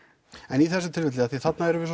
en í þessu tilfelli því þarna erum við